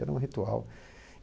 Era um ritual.